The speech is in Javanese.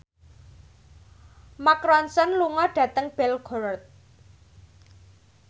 Mark Ronson lunga dhateng Belgorod